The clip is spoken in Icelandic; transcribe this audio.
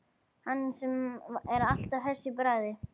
Hann sem er alltaf hress í bragði.